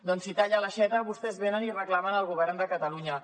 doncs si talla l’aixeta vostès venen i reclamen al govern de catalunya